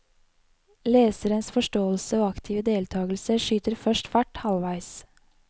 Leserens forståelse og aktive deltakelse skyter først fart halvveis.